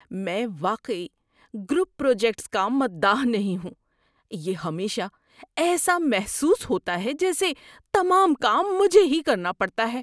میں واقعی group projects کا مداح نہیں ہوں۔ یہ ہمیشہ ایسا محسوس ہوتا ہے جیسے تمام کام مجھے ہی کرنا پڑتا ہے۔